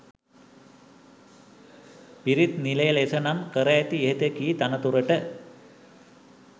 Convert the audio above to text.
පිරිත් නිලය ලෙස නම් කර ඇති ඉහත කී තනතුරට